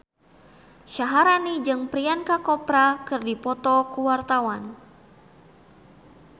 Syaharani jeung Priyanka Chopra keur dipoto ku wartawan